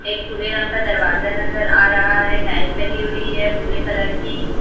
एक भूरे रंग का दरवाजा नजर आ रहा है टाइल्स लगी हुई है भूरे कलर की--